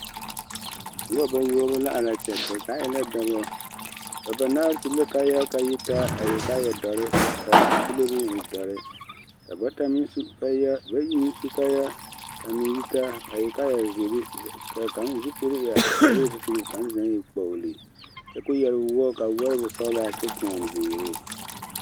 Noba bayoɔbo la are a kyɛ ba zaa e la dɔbɔ ba banaare su la kaayaa ka a yi taa a e kaaya dɔre ka a zupile meŋ e dɔre ka bata meŋ su kaayaa bayi meŋ su kaayaa ka a meŋ yitaa a e kaaya ziiri ka kaŋ zupili e a kparoo zupili ka kaŋ den e kpoɡele kyɛ ka o yɛr woɔ ka a woɔ e wosɔɡelaa kyɛ tõɔ ziiri.